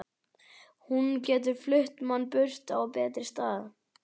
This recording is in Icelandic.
Hún getur flutt mann burt á betri stað.